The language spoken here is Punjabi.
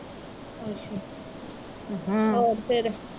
ਹੋਰ ਫਿਰ?